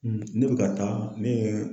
ne bɛ ka taa ne ye